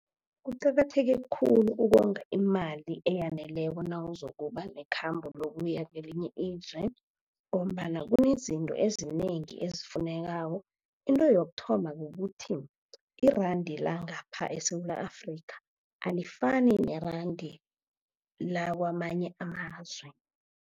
Kuqakatheke khulu ukonga imali eyaneleko nawuzokuba nekhambo lokuya kelinye ilizwe, ngombana kunezinto ezinengi ezifunekako. Into yokuthoma kukuthi iranda langapha eSewula Afrika alifani neranda lakamanye amazwe.